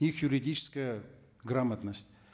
их юридическая грамотность